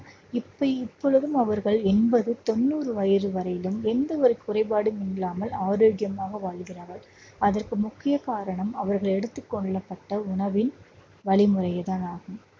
இப்ப இப்பொழுதும் அவர்கள் எண்பது, தொண்ணூறு வயசு வரையிலும் எந்த ஒரு குறைபாடும் இல்லாமல் ஆரோக்கியமாக வாழ்கிறார்கள் அதற்கு முக்கிய காரணம் அவர்கள் எடுத்துக் கொள்ளப்பட்ட உணவின் வழிமுறைதான் ஆகும்